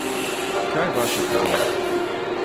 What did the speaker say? Kaj vaša kariera?